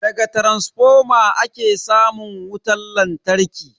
Daga taransifoma ake samun wutan lantarki.